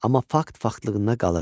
Amma fakt faktlığında qalır.